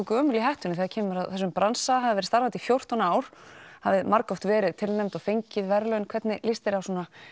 gömul í hettunni þegar kemur að þessum bransa hafið verið starfandi í fjórtán ár hafið margoft verið tilnefnd og fengið verðlaun hvernig líst þér á